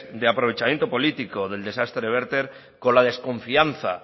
de aprovechamiento político del desastre verter con la desconfianza